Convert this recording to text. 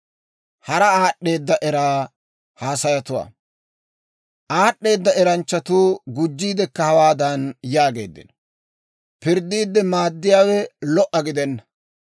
Aad'd'eeda eranchchatuu gujjiidekka hawaadan yaageeddino: Pirddiidde maaddiyaawe lo"a gidenna.